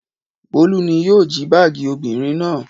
Bólú ni yóò jí báágì obìnrin náà.